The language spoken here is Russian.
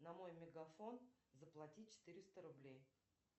на мой мегафон заплати четыреста рублей